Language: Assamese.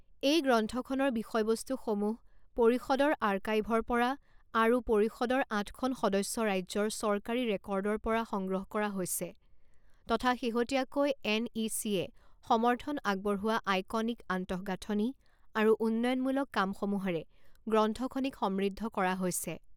এই গ্ৰন্থখনৰ বিষয়বস্তুসমূহ পৰিষদৰ আৰ্কাইভৰপৰা আৰু পৰিষদৰ আঠখন সদস্য ৰাজ্যৰ চৰকাৰী ৰেকৰ্ডৰপৰা সংগ্ৰহ কৰা হৈছে তথা শেহতীয়াকৈ এনইচিয়ে সমৰ্থন আগবঢ়োৱা আইকনিক আন্তঃগাঁথনি আৰু উন্নয়নমূলক কামসমূহৰে গ্ৰন্থখনিক সমৃদ্ধ কৰা হৈছে।